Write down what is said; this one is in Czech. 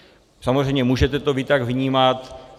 Samozřejmě můžete to vy tak vnímat.